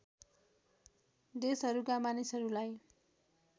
देशहरूका मानिसहरूलाई